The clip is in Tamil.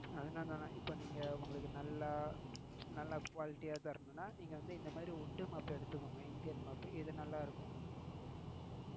அதுதான் சொன்னேன் இப்ப நீங்க உங்களுக்கு quality ஆஹ் தரனும்னா நீங்க இந்த மாதிரி wood mop எடுத்துக்கோங்க இந்தியன் mop இது நல்லாயிருக்கும்.